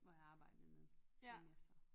Ja hvor jeg arbejdede en masse